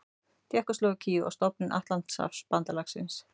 Tékkóslóvakíu og stofnun Atlantshafsbandalagsins.